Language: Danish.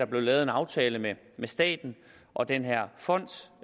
blevet lavet en aftale mellem staten og den her fond